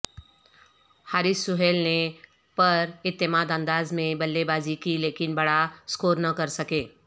حارث سہیل نے پراعتماد انداز میں بلے بازی کی لیکن بڑا سکور نہ کر سکے